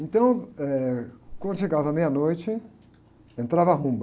Então, eh, quando chegava meia-noite, entrava a rumba.